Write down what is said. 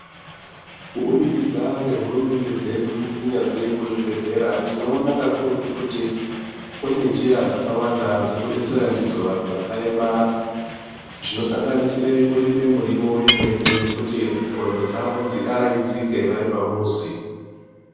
Kubudikidza ngehurumende dzedu kunyazwi muzvibhedhlera tinoona kuakurutu kuti kune njira dzakawanda dzekudetsera ndidzo vantu vakaremara dzinosanganisire kurime miriwo yemene yekuti nxondo dzawo dziaraidzike vari pamuzi.